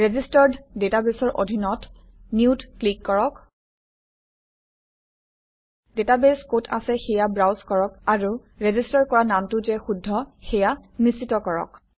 registered ডাটাবেছৰ অধীনত Newত ক্লিক কৰক ডাটাবেছ কত আছে সেয়া ব্ৰাউজ কৰক আৰু ৰেজিষ্টাৰ কৰা নামটো যে শুদ্ধ সেয়া নিশ্চিত কৰক